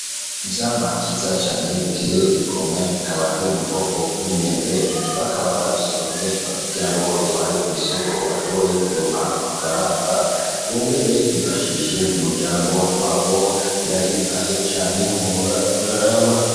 Ivyamwa vyiza cane biteye igomwe bikaba biri mu bwoko bw'imyembe bakaba ba bisoromye bakagira ngo babitware kw'isoko bashobore kuronka amafaranga bongere bifashishe umuryango wabo birahimbaye cane wohora uraraba.